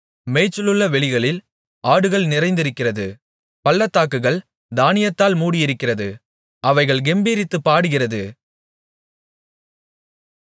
மேய்ச்சலுள்ள வெளிகளில் ஆடுகள் நிறைந்திருக்கிறது பள்ளத்தாக்குகள் தானியத்தால் மூடியிருக்கிறது அவைகள் கெம்பீரித்துப் பாடுகிறது